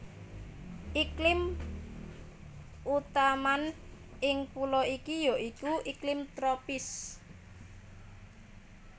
Iklim utaman ing pulo iki ya iku iklim tropis